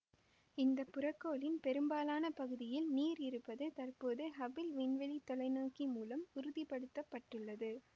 இந்த புறக்கோளின் பெரும்பாலான பகுதியில் நீர் இருப்பது தற்போது ஹபிள் விண்வெளி தொலைநோக்கி மூலம் உறுதிப்படுத்தப்பட்டுள்ளது